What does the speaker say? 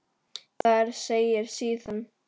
Þar segir síðan